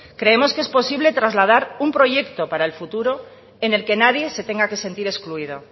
creemos que es posible trasladar un proyecto para el futuro en el que nadie se tenga que sentir excluido